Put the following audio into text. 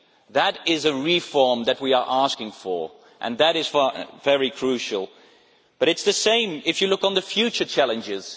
That is a reform that we are asking for, and that is very crucial. But it is the same when you look at future challenges.